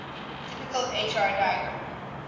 typical hr diagram